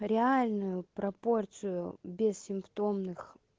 реальную пропорцию бессимптомных